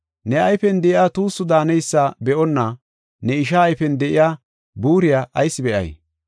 Ne ayfen de7iya tuussu daaneysa be7onna ne ishaa ayfen de7iya buuriya ayis be7ay?